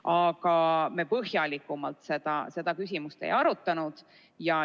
Aga põhjalikumalt me seda küsimust ei arutanud.